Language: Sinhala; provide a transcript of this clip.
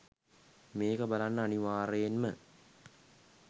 මේක බලන්න අනිවාර්යයෙන්ම